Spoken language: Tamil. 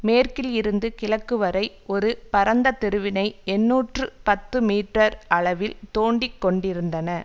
மேற்கில் இருந்து கிழக்கு வரை ஒரு பரந்த தெருவினை எண்ணூற்று பத்து மீற்றர் அளவில் தோண்டிக்கொண்டிருந்தன